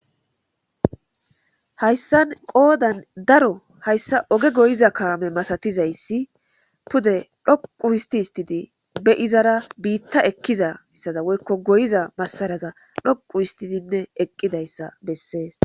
hayssan qoodan daro hayssa oge goyiza kaame masatizayssi pude dhoqu histi histidi be izara biitta ekkiza issaza woykko goyiza masaraza dhoqu histidinne eqqidayssa bessees.